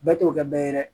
Bɛɛ t'o kɛ bɛɛ ye dɛ